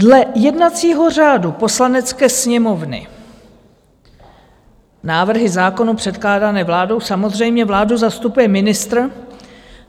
Dle jednacího řádu Poslanecké sněmovny návrhy zákonů předkládané vládou - samozřejmě vládu zastupuje ministr.